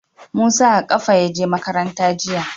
Musa a ƙafa ya je makaranta jiya.